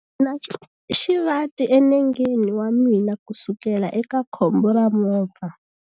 Ndzi na xivati enengeni wa mina kusukela eka khombo ra movha.